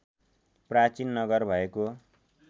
प्राचीन नगर भएको